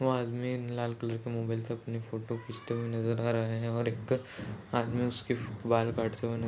वो आदमी लाल कलर के मोबाइल से अपनी फोटो खींचते हुए नज़र आ रहा है और एक आदमी उसके बाल काटते हुए न--